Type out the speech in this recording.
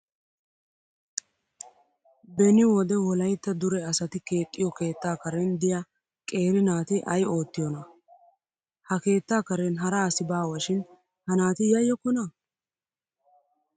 Beni wode wolayitta dure asati keexxiyoo keettaa karen diyaa qeeri naati ayi oottiyoonaa? Ha keetta karen hara asi baawashin ha naati yaayyokkonaa?